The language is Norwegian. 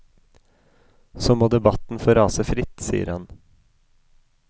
Så må debatten få rase fritt, sier han.